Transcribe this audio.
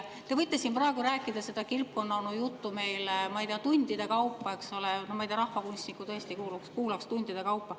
Te võite siin praegu rääkida seda kilpkonnaonu juttu meile, ma ei tea, tundide kaupa, eks ole, rahvakunstnikku tõesti kuulaks tundide kaupa.